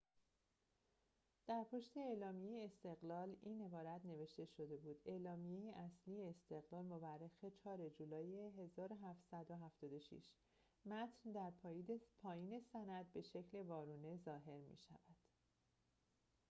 در پشت اعلامیه استقلال این عبارت نوشته شده بود اعلامیه اصلی استقلال مورخ ۴ جولای ۱۷۷۶ متن در پایین سند به شکل وارونه ظاهر می شود